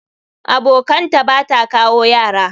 Abokanta Bata kawo Yara.